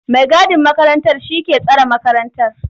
mai gadin makarantar shi ke tsare makarantar.